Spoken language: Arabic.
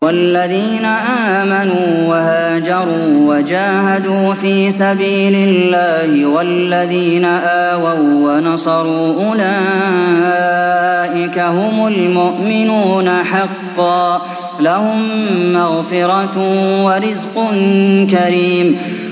وَالَّذِينَ آمَنُوا وَهَاجَرُوا وَجَاهَدُوا فِي سَبِيلِ اللَّهِ وَالَّذِينَ آوَوا وَّنَصَرُوا أُولَٰئِكَ هُمُ الْمُؤْمِنُونَ حَقًّا ۚ لَّهُم مَّغْفِرَةٌ وَرِزْقٌ كَرِيمٌ